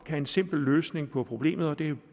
er en simpel løsning på problemet jo